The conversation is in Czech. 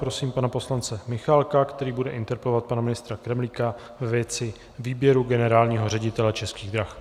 Prosím pana poslance Michálka, který bude interpelovat pana ministra Kremlíka ve věci výběru generálního ředitele Českých drah.